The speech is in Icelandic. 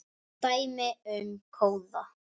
Dæmi um kóða